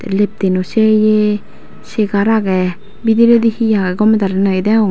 leftino seye chegar aagey bediredi he aagey gomey daley noyo deyong.